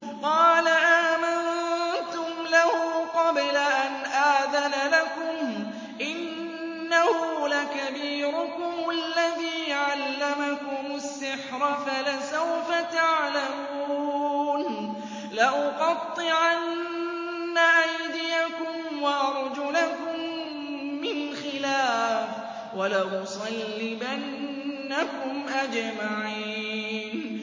قَالَ آمَنتُمْ لَهُ قَبْلَ أَنْ آذَنَ لَكُمْ ۖ إِنَّهُ لَكَبِيرُكُمُ الَّذِي عَلَّمَكُمُ السِّحْرَ فَلَسَوْفَ تَعْلَمُونَ ۚ لَأُقَطِّعَنَّ أَيْدِيَكُمْ وَأَرْجُلَكُم مِّنْ خِلَافٍ وَلَأُصَلِّبَنَّكُمْ أَجْمَعِينَ